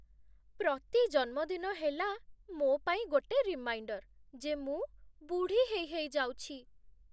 ପ୍ରତି ଜନ୍ମଦିନ ହେଲା ମୋ' ପାଇଁ ଗୋଟେ ରିମାଇଣ୍ଡର୍ ଯେ ମୁଁ ବୁଢ଼ା ହେଇ ହେଇ ଯାଉଛି ।